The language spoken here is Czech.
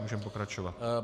Můžeme pokračovat.